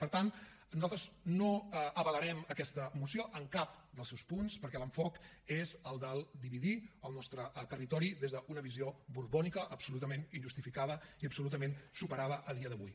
per tant nosaltres no avalarem aquesta moció en cap dels seus punts perquè l’enfocament és el del dividir el nostre territori des d’una visió borbònica absolutament injustificada i absolutament superada a dia d’avui